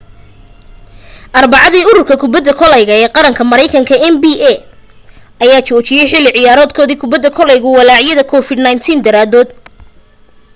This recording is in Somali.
arbacadii ururka kubadda koleyga ee qaranka maraynkanka nba ayaa joojiyay xilli ciyaareedkoodii kubadda koleyga walaacyada covid-19 daraadood